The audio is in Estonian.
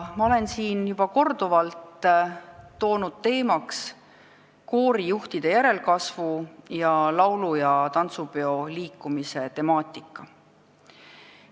Ma olen siin juba korduvalt tõstatanud koorijuhtide järelkasvu ning laulu- ja tantsupeo liikumise temaatika.